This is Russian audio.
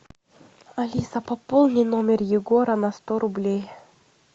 алиса пополни номер егора на сто рублей